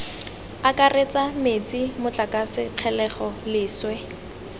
akaretsa metsi motlakase kgelelo leswe